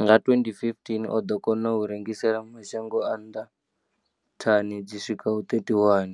Nga 2015, o ḓo kona u rengisela mashango a nnḓa thani dzi swikaho 31